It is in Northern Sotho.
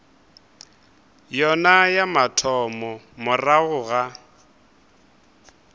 yona ya mathomo morago ga